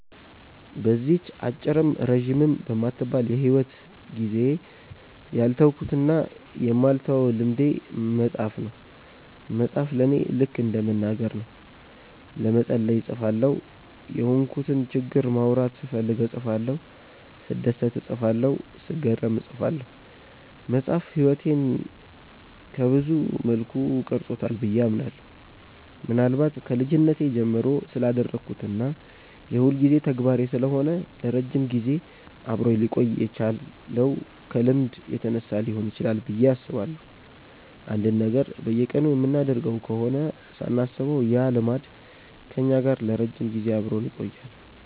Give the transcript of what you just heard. በዚህች አጭርም ረጅምም በማትባል የሂወት ጊዜዬ ያልተውኩትና የማልተወው ልምዴ መጻፍ ነው። መጻፍ ለኔ ልከ እንደ መናገር ነው። ለመጸለይ እጽፋለሁ፤ የሆንኩትን ችግር ማውራት ስፈልግ እጽፋለሁ፤ ስደሰት እጽፋለሁ፤ ስገረም እጽፋለሁ። መጻፍ ህይወቴን ሰብዙ መልኩ ቀርጾታል ብዬ አምናለሁ። ምናልባት ከልጅነቴ ጀምሮ ስላዳበርኩት እና የሁልጊዜ ተግባሬ ስለሆነ ለረጅም ጊዜ አብሮኝ ሊቆይ የቻለው ከልምድ የተነሳ ሊሆን ይችላል ብዬ አስባለሁ። አንድን ነገር በየቀኑ የምናደርገው ከሆነ ሳናስበው ያ ልማድ ከኛ ጋር ለረጅም ጊዜ አብሮን ይቆያል።